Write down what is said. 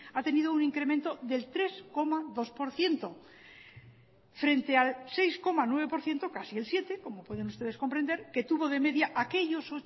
ha tenido un incremento del tres coma dos por ciento frente al seis coma nueve por ciento casi el siete como pueden ustedes comprender que tuvo de media aquellos